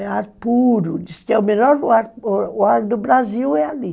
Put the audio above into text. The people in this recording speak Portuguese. É ar puro, diz que é o melhor ar do Brasil, é ali.